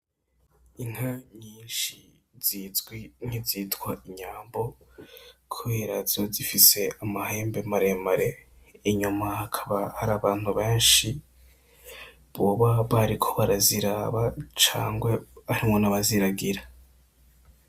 Inka nyinshi zizwi nkizitwa inyambo kubera ziba zifise amahembe maremare. Inyuma hakaba harabantu benshi boba bariko baraziraba canke harimwo n'abaziragira.